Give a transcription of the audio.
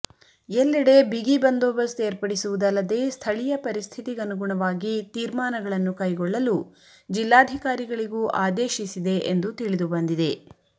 ಎಲ್ಲೆಡೆ ಬಿಗಿ ಬಂದೋಬಸ್ತ್ ಏರ್ಪಡಿಸುವುದಲ್ಲದೆ ಸ್ಥಳೀಯ ಪರಿಸ್ಥಿತಿಗನುಗುಣವಾಗಿ ತೀರ್ಮಾನಗಳನ್ನು ಕೈಗೊಳ್ಳಲು ಜಿಲ್ಲಾಧಿಕಾರಿಗಳಿಗೂ ಆದೇಶಿಸಿದೆ ಎಂದು ತಿಳಿದುಬಂದಿದೆ